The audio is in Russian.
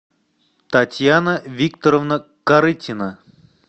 татьяна викторовна корытина